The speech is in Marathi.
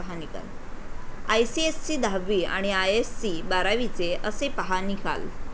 आयसीएसई दहावी आणि आयएससी बारावीचे 'असे' पहा निकाल